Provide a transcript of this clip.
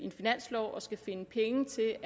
og finansloven og skal finde penge til